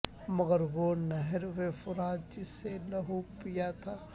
مگر وہ نہر فرات جس نے لہو پیا تھا